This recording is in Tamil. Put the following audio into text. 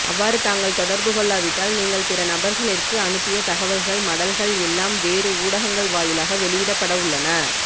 அவ்வாறு தாங்கள் தொடர்பு கொள்ளாவிட்டால் நீங்கள் பிற நபர்களிற்கு அனுப்பிய தகவல்கள் மடல்கள் எல்லாம் வேறு ஊடகங்கள் வாயிலாக வெளியிடப்படவுள்ளன